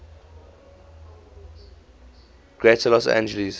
greater los angeles